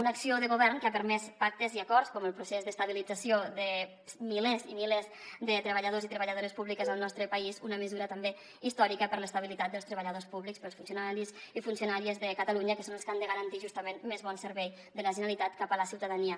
una acció de govern que ha permès pactes i acords com el procés d’estabilització de milers i milers de treballadors i treballadores públiques al nostre país una mesura també històrica per a l’estabilitat dels treballadors públics per als funcionaris i funcionàries de catalunya que són els que han de garantir justament més bon servei de la generalitat cap a la ciutadania